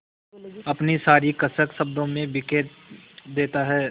अपनी सारी कसक शब्दों में बिखेर देता है